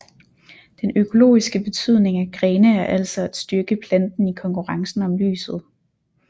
Den økologiske betydning af grene er altså at styrke planten i konkurrencen om lyset